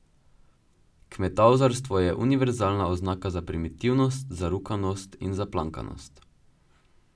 Kmetavzarstvo je univerzalna oznaka za primitivnost, zarukanost in zaplankanost.